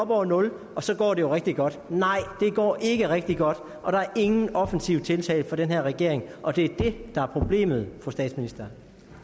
over nul og så går det jo rigtig godt nej det går ikke rigtig godt og der er ingen offensive tiltag fra den her regering og det er det der er problemet fru statsminister